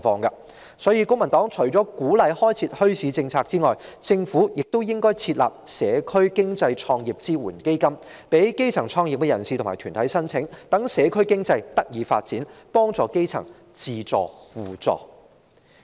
因此，公民黨認為除了鼓勵開設墟市的政策外，政府亦應設立社區經濟創業支援基金，供基層創業人士及團體申請，使社區經濟得以發展，幫助基層自助互助。